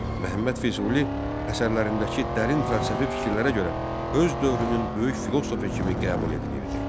Məhəmməd Füzuli əsərlərindəki dərin fəlsəfi fikirlərə görə öz dövrünün böyük filosofu kimi qəbul edilirdi.